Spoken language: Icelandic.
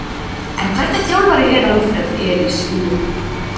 En hvernig þjálfari er Alfreð Elías Jóhannsson, þjálfari Ægis?